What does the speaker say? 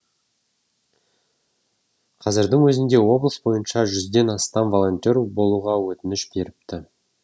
қазірдің өзінде облыс бойынша жүзден астам волонтер болуға өтініш беріпті